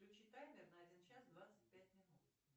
включи таймер на один час двадцать пять минут